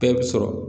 Bɛɛ bɛ sɔrɔ